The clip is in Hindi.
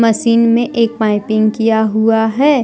मसीन में एक पाइपिंग किया हुआ हैं।